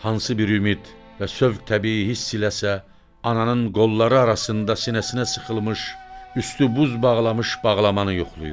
Hansı bir ümid və sövq təbii hiss eləsə, ananın qolları arasında sinəsinə sıxılmış, üstü buz bağlamış bağlamanı yoxlayır.